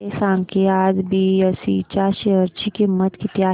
हे सांगा की आज बीएसई च्या शेअर ची किंमत किती आहे